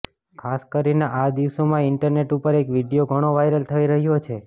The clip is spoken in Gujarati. ખાસ કરીને આ દિવસોમાં ઈન્ટરનેટ ઉપર એક વિડીયો ઘણો વાયરલ થઇ રહ્યો છે